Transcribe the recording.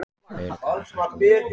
Fleiri kæra sænsku lögregluna